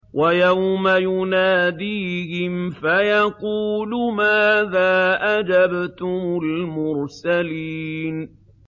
وَيَوْمَ يُنَادِيهِمْ فَيَقُولُ مَاذَا أَجَبْتُمُ الْمُرْسَلِينَ